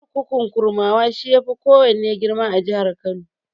Kurkukun Kurmawa, shi ya fi kowanne girma a jihar Kano.